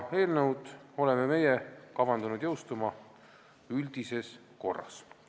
Me oleme kavandanud eelnõu jõustumise üldises korras.